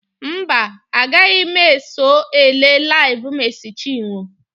Mba, agaghị m eso ele LIVE Mercy Chinwo.